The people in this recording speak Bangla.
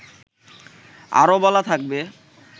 আরও বলা থাকবে